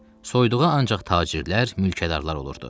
Soyduğu ancaq tacirlər, mülkədarlar olurdu.